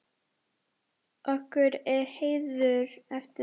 Okkur er heiður af því.